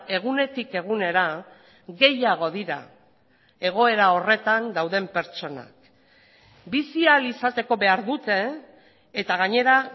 egunetik egunera gehiago dira egoera horretan dauden pertsonak bizi ahal izateko behar dute eta gainera